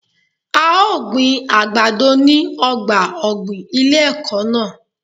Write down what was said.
A ó gbin àgbàdo ní ọgbà ọ̀gbìn ilé ẹ̀kọ́ náà.